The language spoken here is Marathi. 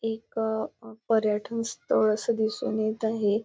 एक अ पर्यटन स्थळ असं दिसून येत आहे.